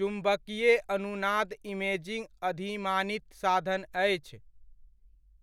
चुम्बकीय अनुनाद इमेजिङ्ग अधिमानित साधन अछि।